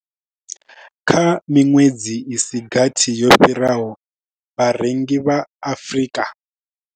Kha miṅwedzi i si gathi yo fhiraho, vharengi vha Afrika.